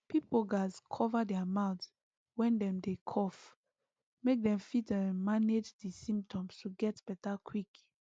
pipo gatz cover their mouth when dem dey cough make dem fit um manage di symptoms to get beta quick